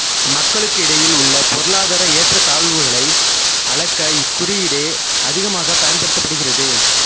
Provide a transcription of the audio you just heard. மக்களுக்கிடையில் உள்ள பொருளாதார ஏற்றத்தாழ்வுகளை அளக்க இக்குறியீடே அதிகமாக பயன்படுத்தப்படுகிறது